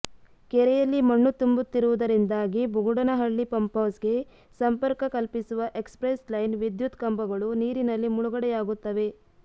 ಕೆರೆಯಲ್ಲಿ ಮಣ್ಣು ತುಂಬುತ್ತಿರುವುದರಿಂದಾಗಿ ಬುಗುಡನಹಳ್ಳಿ ಪಂಪ್ಹೌಸ್ಗೆ ಸಂಪರ್ಕ ಕಲ್ಪಿಸುವ ಎಕ್ಸ್ಪ್ರೆಸ್ ಲೈನ್ನ ವಿದ್ಯುತ್ ಕಂಬಗಳು ನೀರಿನಲ್ಲಿ ಮುಳುಗುಡೆಯಾಗುತ್ತವೆ